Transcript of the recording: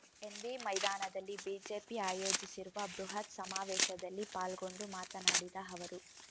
NV ಮೈದಾನದಲ್ಲಿ BJP ಆಯೋಜಿಸಿರುವ ಬೃಹತ್ ಸಮಾವೇಶದಲ್ಲಿ ಪಾಲ್ಗೊಂಡು ಮಾತನಾಡಿದ ಅವರು